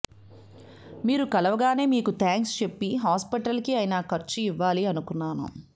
మీరు కలవగానే మీకు థాంక్స్ చెప్పి హాస్పిటల్ కి అయిన ఖర్చు ఇవ్వాలి అనుకున్నాను